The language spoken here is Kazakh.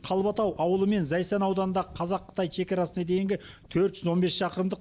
қалбатау ауылы мен зайсан ауданындағы қазақ қытай шекарасына дейінгі төрт жүз он бес шақырымдық